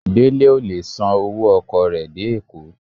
Dele o le sán ọwọ ọkọ re dé Eko.